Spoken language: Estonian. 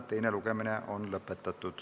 Teine lugemine on lõpetatud.